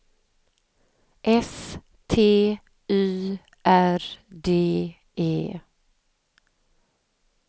S T Y R D E